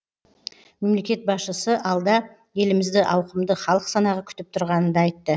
мемлекет басшысы алда елімізді ауқымды халық санағы күтіп тұрғанын да айтты